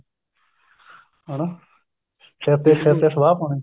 ਹਣਾ ਸਿਰ ਤੇ ਸਿਰ ਤੇ ਸਵਾਹ ਪਾਉਣੀ